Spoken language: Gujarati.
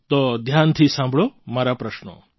તો ધ્યાનથી સાંભળો મારા પ્રશ્નો